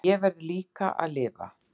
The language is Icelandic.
En ég verð líka að lifa.